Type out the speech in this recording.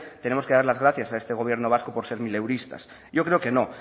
tenemos que dar las gracias a este gobierno vasco por ser mileuristas yo creo que no